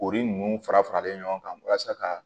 Kɔri ninnu fara faralen ɲɔgɔn kan walasa ka